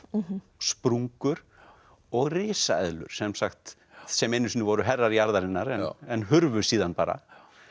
sprungur og risaeðlur sem sagt sem einu sinni voru herrar jarðarinnar en hurfu síðan bara